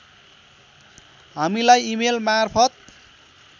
हामीलाई इमेल मार्फत